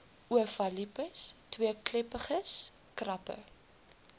ovalipes tweekleppiges krappe